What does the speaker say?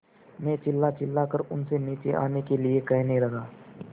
मैं चिल्लाचिल्लाकर उनसे नीचे आने के लिए कहने लगा